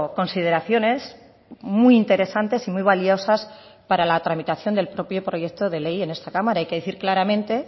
consideraciones muy interesantes y muy valiosas para la tramitación del propio proyecto de ley en esta cámara hay que decir claramente